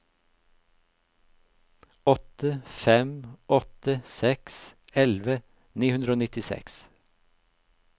åtte fem åtte seks elleve ni hundre og nittiseks